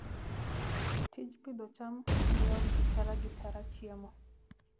Tij pidho cham miyo ji tara gi tara chiemo.